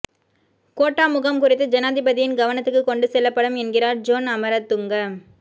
quota முகாம் குறித்து ஜனாதிபதியின் கவனத்துக்கு கொண்டு செல்லப்படும் என்கிறார் ஜோன் அமரதுங்க